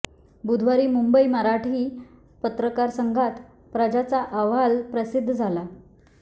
बुधवारी मुंबई मराठी पत्रकार संघात प्रजाचा अहवाल प्रसिद्ध झाला